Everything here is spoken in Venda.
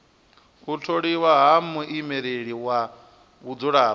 u tholiwa ha muimeleli wa vhadzulapo